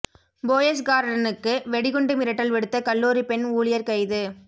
போயஸ் கார்டனுக்கு வெடிகுண்டு மிரட்டல் விடுத்த கல்லூரி பெண் ஊழியர் கைது